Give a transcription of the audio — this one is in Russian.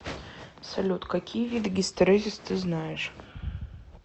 салют какие виды гистерезис ты знаешь